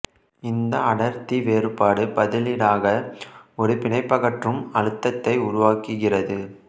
இந்த அடர்த்தி வேறுபாடு பதிலீடாக ஒரு பிணைப்பகற்றும் அழுத்தத்தை உருவாக்குகிறது